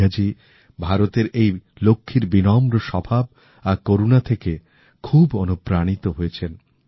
মেঘাজী ভারতের এই লক্ষ্মীর বিনম্র স্বভাব আর করুণা থেকে খুব অনুপ্রাণিত হয়েছেন